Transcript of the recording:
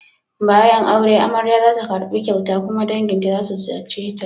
Bayan aure, amarya za ta karbi kyauta kuma danginta za su ziyarce ta.